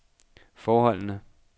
forholdene